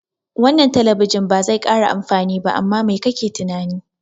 Wannan talabijin bazai kara amfani ba, amma mai kake tunani?